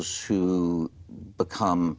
sem hún kom